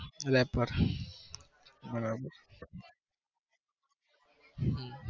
rapper બરાબર હમ